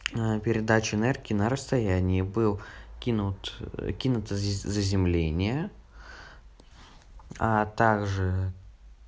передача энергии на расстояние был кинут кинуто заземление а также